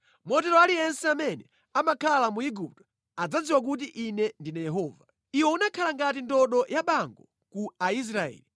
Motero aliyense amene amakhala mu Igupto adzadziwa kuti Ine ndine Yehova. “ ‘Iwe unakhala ngati ndodo yabango ku Aisraeli.